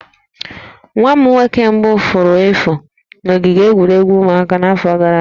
Nwa m nwoke mbụ furu efu na ogige egwuregwu ụmụaka n'afọ gara aga